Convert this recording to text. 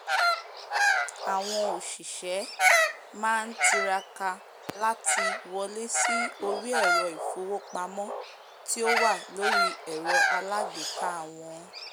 àwọn òsìsẹ́ máá tiraka láti wọlé sí orí ẹ̀rọ̀ ìfowópamọ́ tí ó wà lórí ẹ̀rọ aalágbèéká wọn